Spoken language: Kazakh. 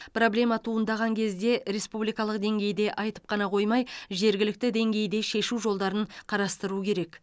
проблема туындаған кезде республикалық деңгейде айтып қана қоймай жергілікті деңгейде шешу жолдарын қарастыру керек